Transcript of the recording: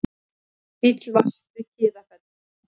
Bíll valt við Kiðafell